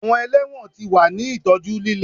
Awọn ẹlẹwọn ti wa ni itọju lile